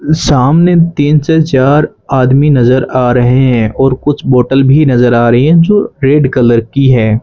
सामने तीन से चार आदमी नज़र आ रहे हैं और कुछ बॉटल भी नज़र आ रही है जो रेड कलर की है।